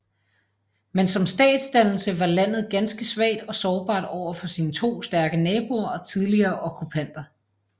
Men som statsdannelse var landet ganske svagt og sårbart over for sine to stærke naboer og tidligere okkupanter